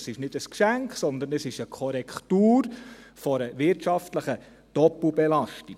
Es ist nicht ein Geschenk, sondern es ist eine Korrektur einer wirtschaftlichen Doppelbelastung.